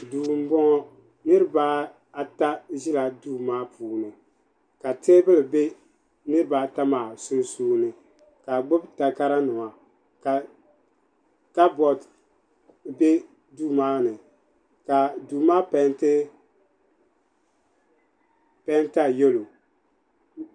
Duu m boŋɔ niriba ata zila duu maa puuni ka teebuli be niriba ata maa sunsuuni ka bɛ gbibi takara nima ka kaboori be duu maani ka duu maa penti penta yelo.